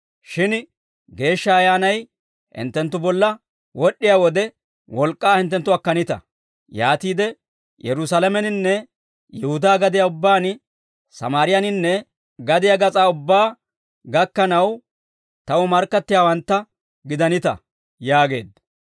Shin Geeshsha Ayyaanay hinttenttu bolla wod'd'iyaa wode, wolk'k'aa hinttenttu akkanita; yaatiide Yerusaalameninne Yihudaa gadiyaa ubbaan, Sammaariyaaninne gadiyaa gas'aa ubbaa gakkanaw Taw markkattiyaawantta gidanita» yaageedda.